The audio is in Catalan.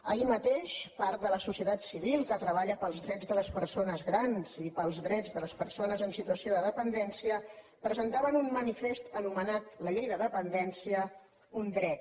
ahir mateix part de la societat civil que treballa per als drets de les persones grans i per als drets de les persones en situació de dependència presentava un manifest anomenat la llei de dependència un dret